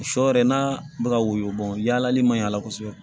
Sɔ yɛrɛ n'a bɛ ka woyo bɔn yaalali man ɲi a la kosɛbɛ